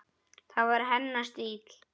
Það var hennar stíll.